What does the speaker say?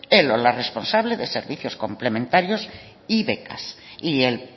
el o la responsable de servicios complementarios y becas y el